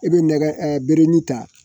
I bɛ nɛgɛ bere ta